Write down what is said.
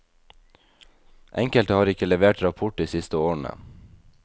Enkelte har ikke levert rapport de siste årene.